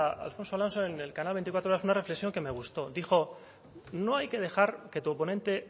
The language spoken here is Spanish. a alfonso alonso en el canal veinticuatro horas una reflexión que me gustó dijo no hay que dejar que tu oponente